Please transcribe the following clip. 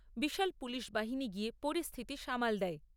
বিশাল police বাহিনী গিয়ে পরিস্থিতি সামাল দেয়।